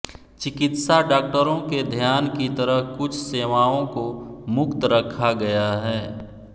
चिकित्सा डॉक्टरों के ध्यान की तरह कुछ सेवाओं को मुक्त रखा गया है